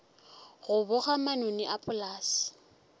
go boga manoni a polase